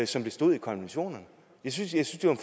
som det stod i konventionerne jeg synes at det var